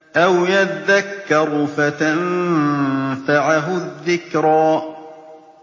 أَوْ يَذَّكَّرُ فَتَنفَعَهُ الذِّكْرَىٰ